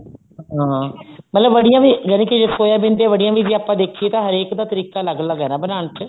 ਹਾਂ ਮਤਲਬ ਵੜੀਆਂ ਵੀ ਮਤਲਬ ਜੇ ਸੋਇਆਬੀਨ ਦੀਆਂ ਬੜੀਆਂ ਜੇ ਆਪਾਂ ਦੇਖੀਏ ਤਾਂ ਹਰੇਕ ਦਾ ਤਰੀਕਾ ਅਲੱਗ ਅਲੱਗ ਹੈ ਬਣਾਉਣ ਚ